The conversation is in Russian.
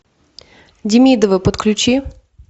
демидовы подключи